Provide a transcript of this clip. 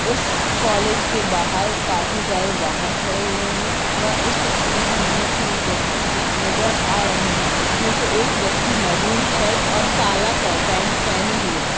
उस कॉलेज के बहार काफी सारे वहन खड़े हुए हैंवह इस तस्वीर मे हमे तीन व्यक्ति भी नजर आ रहे हैं उसमें से एक व्यक्ति महरून शर्ट और काला पे-पेन्ट पहने हुए है।